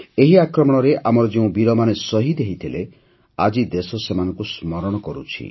ଏହି ଆକ୍ରମଣରେ ଆମର ଯେଉଁ ବୀରମାନେ ଶହୀଦ ହୋଇଥିଲେ ଆଜି ଦେଶ ସେମାନଙ୍କୁ ସ୍ମରଣ କରୁଛି